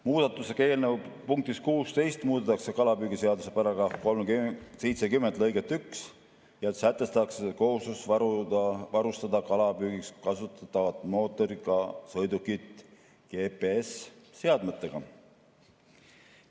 Muudatusega eelnõu punktis 16 muudetakse kalapüügiseaduse § 70 lõiget 1 ja sätestatakse kohustus varustada kalapüügiks kasutatavad mootoriga sõidukid GPS‑seadmetega.